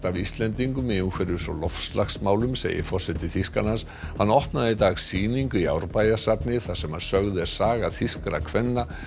af Íslendingum í umhverfis og loftslagsmálum segir forseti Þýskalands hann opnaði í dag sýningu í Árbæjarsafni þar sem sögð er saga þýskra kvenna